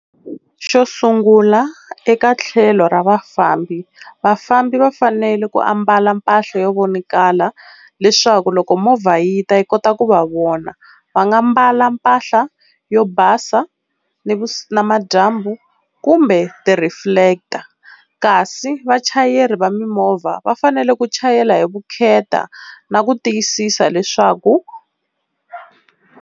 Xo sungula eka tlhelo ra vafambi, vafambi va fanele ku ambala mpahla yo vonakala leswaku loko movha yi ta yi kota ku va vona. Va nga mbala mpahla yo basa ni namadyambu kumbe ti reflector, kasi vachayeri va mimovha va fanele ku chayela hi vukheta na ku tiyisisa leswaku.